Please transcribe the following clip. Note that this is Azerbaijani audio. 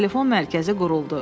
Telefon mərkəzi quruldu.